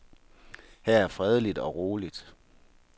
Her er fredeligt og roligt.